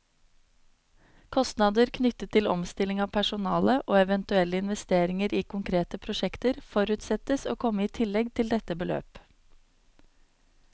Kostnader knyttet til omstilling av personale, og eventuelle investeringer i konkrete prosjekter, forutsettes å komme i tillegg til dette beløp.